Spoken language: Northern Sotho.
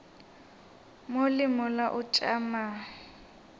mo le mola o tšama